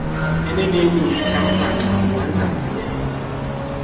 eneneni utamsanqa uwandlale